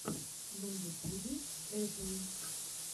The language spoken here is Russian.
на ютюбе эпл